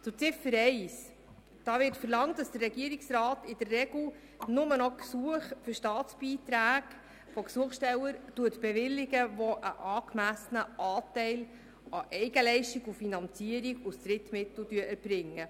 : Hier wird verlangt, dass der Regierungsrat in der Regel nur noch Gesuche für Staatsbeiträge von Gesuchstellern bewilligt, die einen angemessenen Anteil an Eigenleistung und Finanzierung aus Drittmitteln erbringen.